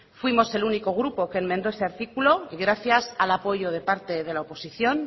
fuimos el único grupo que enmendó ese artículo gracias al apoyo de parte de la oposición